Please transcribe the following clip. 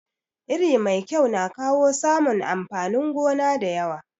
Iri mai kyau na kawo samun amfanin gona da yawa.